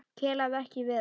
Kelaði ekki við hann.